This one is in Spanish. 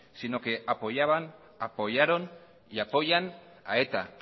sino que apoyaban apoyaron y apoyan a eta